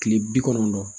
Kile bi kɔnɔntɔn